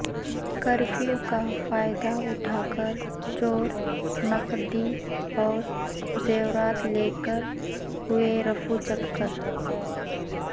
curfew کا فائدہ اٹھا کرچور نقدی اور زیورات لے کر ہوئے رفو چکر